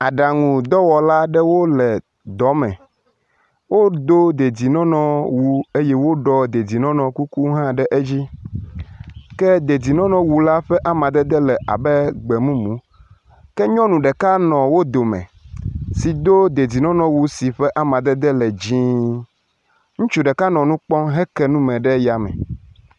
Aɖaŋu dɔwɔla aɖewo le dɔ me, wodo dedienɔnɔwu eye woɖɔ dedienɔnɔ kuku hã ɖe edzi, ke dedienɔnɔwu la ƒe amadede la le gbemumu. Ke nyɔnu ɖeka le wo dome si do dedienɔnɔ wu si amadede le dzɛ̃. Ŋutsu ɖeka nɔ nu kpɔm heke nu ɖe yame.